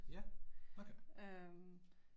Ja, okay